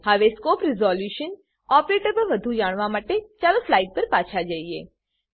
હવે scope resolution operator પર વધુ જાણવા માટે ચાલો સ્લાઈડ પર પાછા ફરીએ